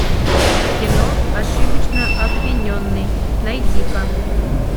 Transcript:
кино ошибочно обвиненный найди ка